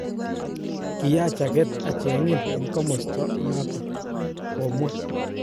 Kiyach aget achangin en komostaa inaton,"komwa.